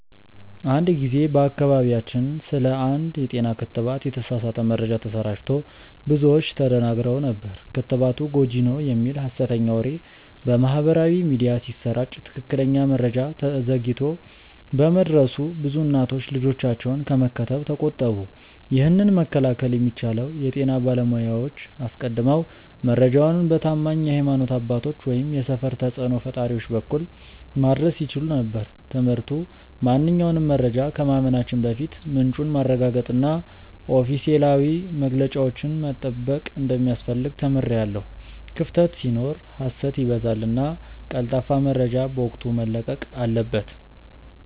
አንድ ጊዜ በአካባቢያችን ስለ አንድ የጤና ክትባት የተሳሳተ መረጃ ተሰራጭቶ ብዙዎች ተደናግረው ነበር። ክትባቱ ጎጂ ነው" የሚል ሀሰተኛ ወሬ በማህበራዊ ሚዲያ ሲሰራጭ ትክክለኛ መረጃ ዘግይቶ በመድረሱ ብዙ እናቶች ልጆቻቸውን ከመከተብ ተቆጠቡ። ይህንን መከላከል የሚቻለው የጤና ባለሙያዎች አስቀድመው መረጃውን በታማኝ የሀይማኖት አባቶች ወይም የሰፈር ተጽእኖ ፈጣሪዎች በኩል ማድረስ ሲችሉ ነበር። ትምህርቱ ማንኛውንም መረጃ ከማመናችን በፊት ምንጩን ማረጋገጥና ኦፊሴላዊ መግለጫዎችን መጠበቅ እንደሚያስፈልግ ተምሬያለሁ። ክፍተት ሲኖር ሀሰት ይበዛልና ቀልጣፋ መረጃ በወቅቱ መለቀቅ አለበት።